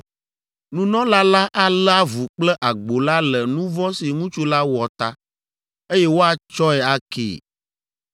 Nunɔla la alé avu kple agbo la le nu vɔ̃ si ŋutsu la wɔ ta, eye woatsɔe akee.